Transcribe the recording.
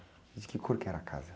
E de que cor que era a casa?